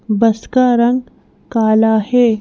बस का रंग काला है।